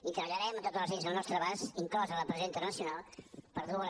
i treballarem amb totes les eines al nostre abans inclosa la pressió internacional per dur a les